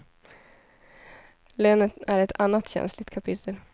Lönen är ett annat känsligt kapitel.